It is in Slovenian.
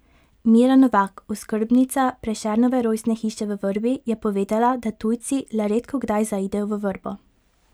Mira Novak, oskrbnica Prešernove rojstne hiše v Vrbi je povedala, da tujci le redkokdaj zaidejo v Vrbo.